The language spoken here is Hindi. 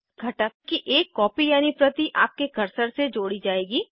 घटक की एक कॉपी यानी प्रति आपके कर्सर से जोड़ी जाएगी